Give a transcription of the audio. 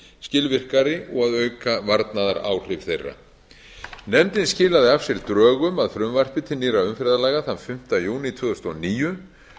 skilvirkari og að auka varnaðaráhrif þeirra nefndin skilaði af sér drögum að frumvarpi til nýrra umferðarlaga þann fimmta júní tvö þúsund og níu